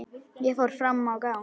Ég fór fram á gang.